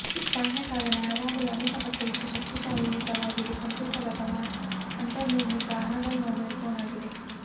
ಬಾಹ್ಯ ಸಾಧನ ಯಾವಾಗಲೂ ಅನೇಕ ಪಟ್ಟು ಹೆಚ್ಚು ಶಕ್ತಿಯುತವಾಗಿದೆ ಕಂಪ್ಯೂಟರ್ ಅಥವಾ ಅಂತರ್ನಿರ್ಮಿತ ಅನಲಾಗ್ ಮೊಬೈಲ್ ಫೋನ್ ಆಗಿದೆ